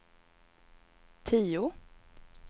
tio